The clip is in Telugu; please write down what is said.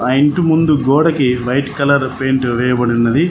ఆ ఇంటి ముందు గోడకి వైట్ కలర్ పెయింట్ వేయబడి ఉన్నది.